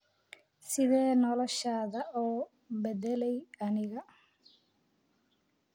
Sidee noloshaada u bedelay aniga?